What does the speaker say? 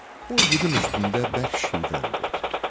O igidin üstündə bərk şivən qopdu.